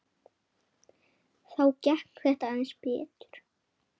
Þá gekk þetta aðeins betur.